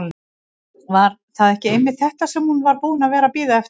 Var það ekki einmitt þetta sem hún var búin að vera að bíða eftir?